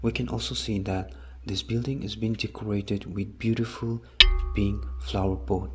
we can also see that this building is being decorated with beautiful pink flower pot.